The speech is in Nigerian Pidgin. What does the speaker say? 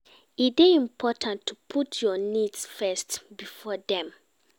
E dey important to put your needs first before dem